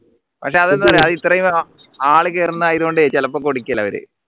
പക്ഷേ അതെന്താ ഇത്രയും ആള് കേറുന്നത് ആയതുകൊണ്ട് ചിലപ്പോ കൊടുക്കില്ല അവര്